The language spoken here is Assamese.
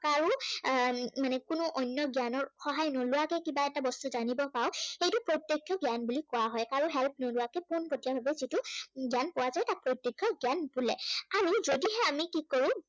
কাৰো উম মানে কোনো অন্য় জ্ঞানৰ সহায় নোলোৱাকৈ কিবা এটা বস্তু জানিব পাওঁ সেইটো প্ৰত্য়ক্ষ জ্ঞান বুলি কোৱা হয়। কাৰো help নোলোৱাকৈ পানপটীয়াকৈ সেইটো জ্ঞান পোৱা যায় বা সেইটো প্ৰত্য়ক্ষ জ্ঞান বোলে। আৰু যদিহে আমি কি কৰো জ্ঞান